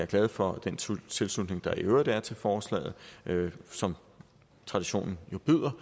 glad for den tilslutning der i øvrigt er til forslaget som traditionen jo byder